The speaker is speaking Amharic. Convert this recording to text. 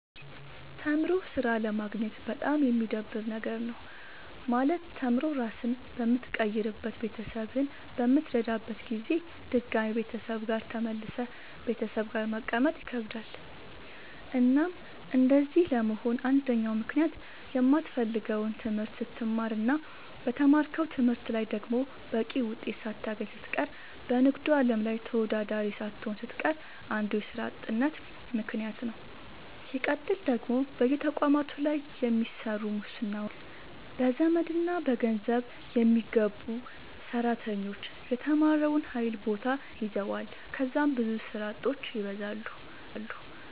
ተምሮ ስራ አለማግኘት በጣም የሚደብር ነገር ነው። ማለት ተምሮ ራስህን በምትቀይርበት ቤተሰብህን በምትረዳበት ጊዜ ድጋሚ ቤተሰብ ጋር ተመልሰህ ቤተሰብ ጋር መቀመጥ ይከብዳል። እናም እንደዚህ ለመሆን አንደኛው ምክንያት የማትፈልገውን ትምህርት ስትማር እና በተማርከው ትምህርት ላይ ደግሞ በቂ ውጤት ሳታገኝ ስትቀር በንግዱ አለም ላይ ተወዳዳሪ ሳትሆን ስትቀር አንዱ የስራ አጥነት ምከንያት ነዉ። ስቀጥል ደግሞ በየተቋማቱ ላይ በሚሰሩ ሙስናዎች፣ በዘመድና በገንዘብ የሚገቡ ሰራተኞች የተማረውን ኃይል ቦታ ይዘዋል ከዛም ብዙ ስራ አጦች ይበዛሉ።